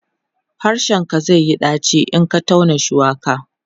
harshen ka zaiyi ɗaci in Ka tauna shuwaka